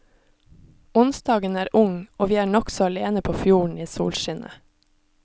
Onsdagen er ung og vi er nokså alene på fjorden i solskinnet.